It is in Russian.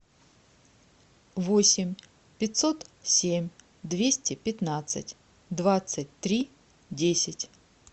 восемь пятьсот семь двести пятнадцать двадцать три десять